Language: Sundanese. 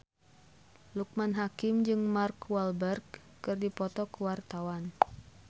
Loekman Hakim jeung Mark Walberg keur dipoto ku wartawan